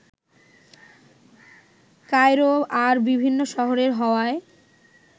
Cairo আর বিভিন্ন শহরে হওয়ায়